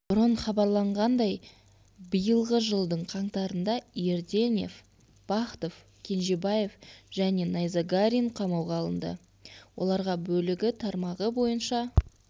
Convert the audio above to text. бұрын хабарланғандай биылғы жылдың қаңтарында ерденев бахтов кенжебаев және найзагарин қамауға алынды оларға бөлігі тармағы бойынша